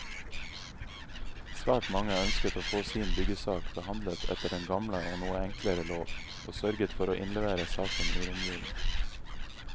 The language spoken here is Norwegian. Svært mange ønsket å få sin byggesak behandlet etter den gamle og noe enklere lov, og sørget for å innlevere saken i romjulen.